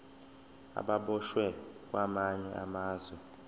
ababoshwe kwamanye amazwe